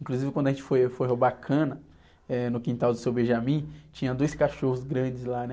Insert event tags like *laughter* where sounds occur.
Inclusive, quando a gente foi, foi roubar cana, eh, no quintal do, *unintelligible* tinha dois cachorros grandes lá, né?